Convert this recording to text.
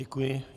Děkuji.